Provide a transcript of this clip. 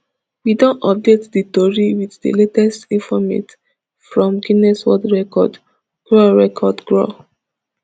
we don update dis tori wit di latest informate from guinness world record gwr record gwr